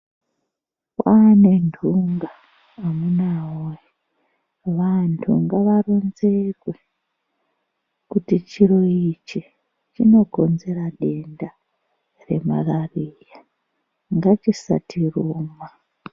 Kwaane ntunga amuna woye vantu ngavaronzerwe kuti chiro ichi chinokonzera denda remarariya ngatisachiruma.